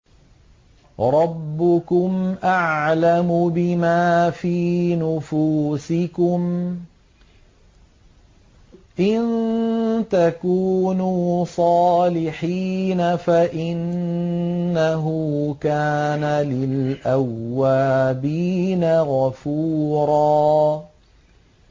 رَّبُّكُمْ أَعْلَمُ بِمَا فِي نُفُوسِكُمْ ۚ إِن تَكُونُوا صَالِحِينَ فَإِنَّهُ كَانَ لِلْأَوَّابِينَ غَفُورًا